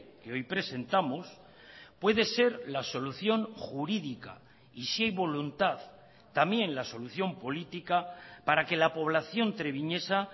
que hoy presentamos puede ser la solución jurídica y si hay voluntad también la solución política para que la población treviñesa